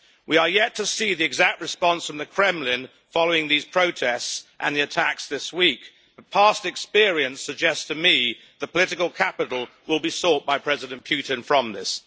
We are yet to see the exact response from the Kremlin following these protests and the attacks this week, but past experience suggests to me that political capital will be sought by President Putin from this.